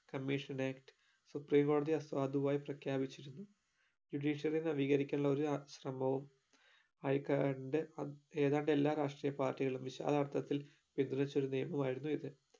commission നെ supreme കോടതി അസാധുവായി പ്രഖ്യാപിച്ചിരുന്നു judiciary നെ നവീകരിക്കാനുള്ള ഒരു അ ശ്രമവും അയക്കാണ്ട് അ ഏതാണ്ടു എല്ലാ രാഷ്ട്രീയ പാർട്ടികളും വിശാലർത്ഥത്തിൽ ഒരു നിയമമായിരുന്നു ഇത്